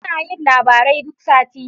Suna yin labaru duk sati.